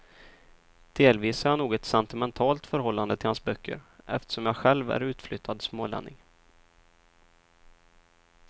Delvis har jag nog ett sentimentalt förhållande till hans böcker, eftersom jag själv är utflyttad smålänning.